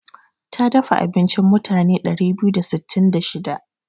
Ta dafa abinci mutane ɗari biyu da sittin da shida.